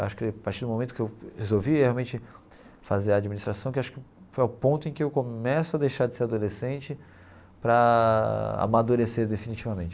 Acho que a partir do momento que eu resolvi realmente fazer administração, que acho que foi o ponto em que eu começo a deixar de ser adolescente para amadurecer definitivamente.